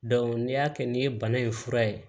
n'i y'a kɛ n'i ye bana in fura ye